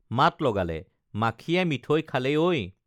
মাত লগালে মাখিয়ে মিঠৈ খালে ঐ